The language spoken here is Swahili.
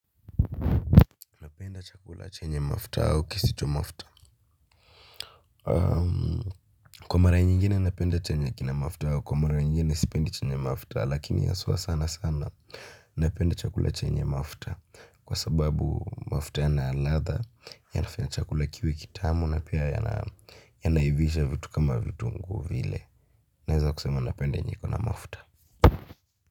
Napenda chakula chenye mafuta au kisicho mafuta? Kwa mara nyingine napenda chenye kina mafuta na kwa mara nyingine sipendi chenye mafuta lakini haswaa sana sana napenda chakula chenye mafuta kwa sababu mafuta yana ladha yanafanya chakula kiwe kitamu na pia yanaivisha vitu kama vitunguu vile. Naeza kusema napenda yenye iko na mafuta.